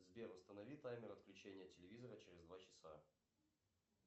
сбер установи таймер отключения телевизора через два часа